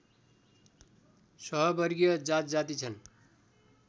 सहवर्गीय जातजाति छन्